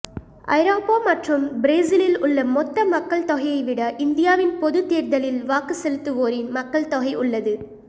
ஐரோப்பா மற்றும் பிரேசிலில் உள்ள மொத்த மக்கள்தொகையைவிட இந்தியாவின் பொதுத் தேர்தலில் வாக்கு செலுத்துவோரின் மக்கள் தொகை உள்ளது